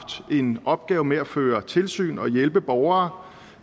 en opgave med at føre tilsyn og hjælpe borgere